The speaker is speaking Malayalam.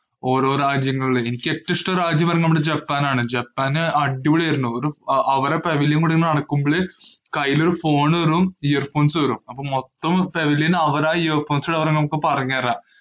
ഓരോ രാജ്യങ്ങളിലെ എനിക്ക് ഏറ്റവും ഇഷ്ടമുള്ള രാജ്യം ജപ്പാനാണ്. ജപ്പാന് അടിപൊളിയായിരുന്നു. അവരുടെ പവലിയന്‍ അവിടെ നടക്കുമ്പോഴ് കൈയില് ഒരു phone തരും earphones തരും. അപ്പൊ മൊത്തം പവലിയന്‍ അവരാ earphones ല് നമ്മക്ക് പറഞ്ഞു തരിക.